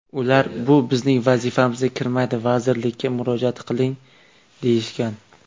Ular bu bizning vazifamizga kirmaydi, vazirlikka murojaat qiling deyishgan.